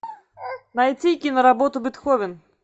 найти киноработу бетховен